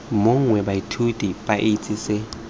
mongwe baithuti ba itse se